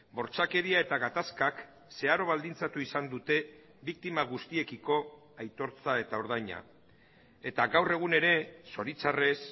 bortxakeria eta gatazkak zeharo baldintzatu izan dute biktima guztiekiko aitortza eta ordaina eta gaur egun ere zoritxarrez